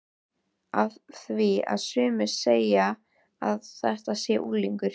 Af því að sumir segja að þetta sé unglingur.